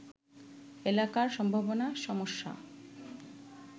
এলাকার সম্ভাবনা-সমস্যা